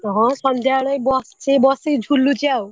ହଁ ସନ୍ଧ୍ୟାବେଳେ ବସିଛି ବଶିକି ଝୁଲୁଚି ଆଉ।